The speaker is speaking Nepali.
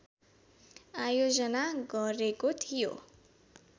आयोजना गरेको थियो